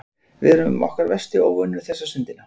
Við erum okkar versti óvinur þessa stundina.